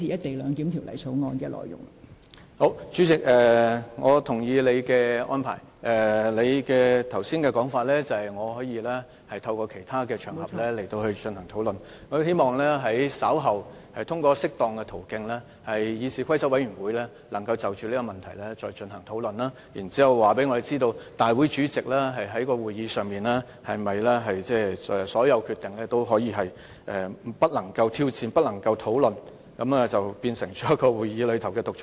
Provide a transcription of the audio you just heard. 代理主席，我同意你的安排，你剛才說我可以在其他場合進行討論。我希望稍後通過適當的途徑，讓議事規則委員會能夠就這個問題再進行討論，然後告訴我們，立法會主席在會議上作出的所有決定是否都不能挑戰、不容討論，讓他變成會議內的獨裁者。